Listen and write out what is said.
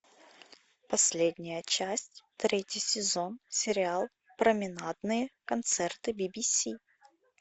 последняя часть третий сезон сериал променадные концерты би би си